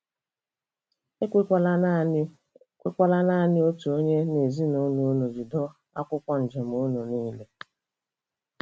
E kwekwala naanị kwekwala naanị otu onye n'ezinụlọ unu jide akwụkwọ njem unu niile.